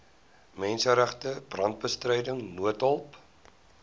menseregte brandbestryding noodhulp